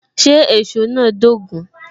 Ṣé èsó náà dogun?